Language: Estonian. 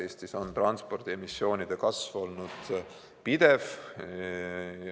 Eestis on transpordiemissiooni kasv olnud pidev.